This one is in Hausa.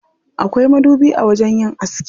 Akwai madubi a wajen yin aski.